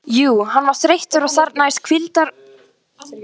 Jú, hann var þreyttur og þarfnaðist hvíldar og næðis.